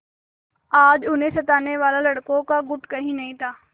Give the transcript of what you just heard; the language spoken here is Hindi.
आज उन्हें सताने वाला लड़कों का गुट कहीं नहीं था